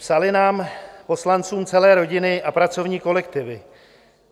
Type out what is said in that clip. Psaly nám, poslancům, celé rodiny a pracovní kolektivy.